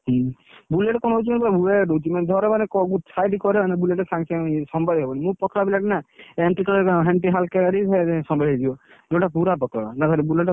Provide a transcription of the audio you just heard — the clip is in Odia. ହୁଁ Bullet କଣ ହଉଛି କହିଲ weight ରହୁଛି ମାନେ ଧର ମାନେ site କରିବ ମାନେ Bullet ସାଙ୍ଗେ ସାଙ୍ଗେ ସମ୍ଭାଳି ହବନି, ମୁଁ ପତଳା ପିଲା ଟା ନା MT ଚଲେଇଲେ କଣ MT ହଲକା ଗାଡି ସମ୍ଭାଳି ହେଇଯିବ MT ଟା ପୁରା ପତଳା Bullet ଟା ଭାରି ଓଜନ ଗାଡି